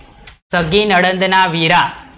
સગી નણંદ ના વીરા